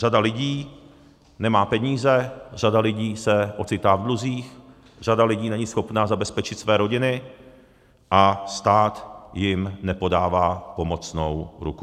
Řada lidí nemá peníze, řada lidí se ocitá v dluzích, řada lidí není schopna zabezpečit své rodiny a stát jim nepodává pomocnou ruku.